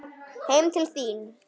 Heim til þín?